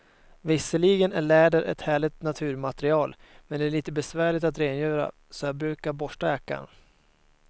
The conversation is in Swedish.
Visserligen är läder ett härligt naturmaterial, men det är lite besvärligt att rengöra, så jag brukar borsta jackan.